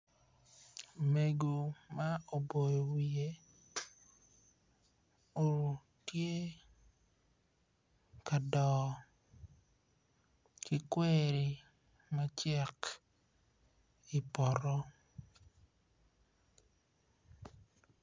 Mego ma oboyo wiye tye ka doo kikweri macek i poto.